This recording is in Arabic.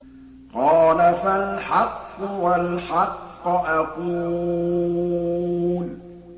قَالَ فَالْحَقُّ وَالْحَقَّ أَقُولُ